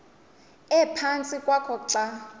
ephantsi kwakho xa